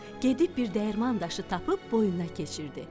Gedib bir dəyirman daşı tapıb boynuna keçirtdi.